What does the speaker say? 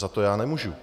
Za to já nemůžu.